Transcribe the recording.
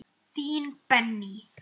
Þín, Benný.